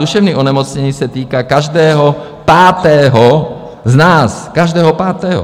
Duševní onemocnění se týká každého pátého z nás, každého pátého!